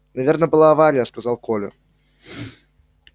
наверно была авария сказал коля